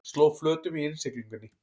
Sló flötum í innsiglingunni